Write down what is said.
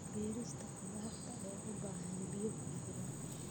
Beerista khudaarta ayaa u baahan biyo ku filan.